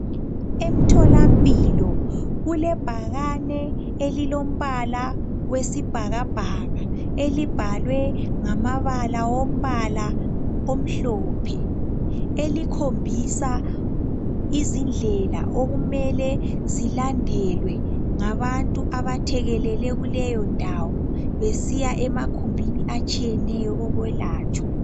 Emtholampilo, kulebhakane elilombala wesibhakabhaka elibhalwe ngamabala wombala omhlophe, elikhombisa izindlela okumele zilandelwe ngabantu abathekelele kuleyondawo besiya emakhumbini atshiyeneyo okwelatshwa.